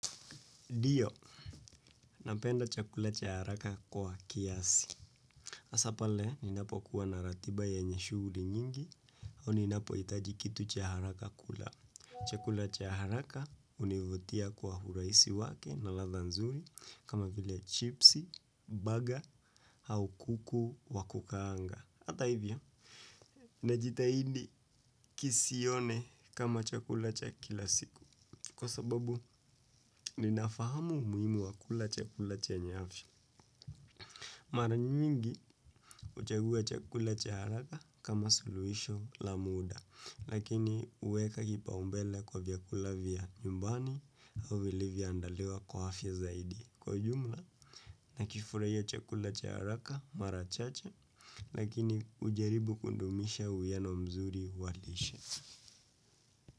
Ndiyo, napenda chakula cha haraka kwa kiasi. Hasa pale, ninapokuwa na ratiba yenye shughuli nyingi, au ninapohitaji kitu cha haraka kula. Chakula cha haraka, hunivutia kwa urahisi wake na ladha nzuri, kama vile chipsi, baga, au kuku wa kukaanga. Hata hivyo, najitahidi kisione kama chakula cha kila siku. Kwa sababu, ninafahamu umuhimu wa kula chakula chenye afya. Mara nyingi huchagua chakula cha haraka kama suluhisho la muda, lakini huweka kipaumbele kwa vyakula vya nyumbani. Au vilivyoandaliwa kwa afya zaidi. Kwa ujumla, nakifurahia chakula cha haraka mara chache, lakini hujaribu kudumisha uwiano mzuri wa lishe.